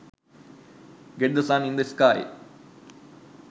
get the sun in the sky